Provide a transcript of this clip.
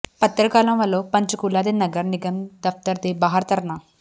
ਪੱਤਰਕਾਰਾਂ ਵੱਲੋਂ ਪੰਚਕੂਲਾ ਦੇ ਨਗਰ ਨਿਗਮ ਦਫ਼ਤਰ ਦੇ ਬਾਹਰ ਧਰਨਾ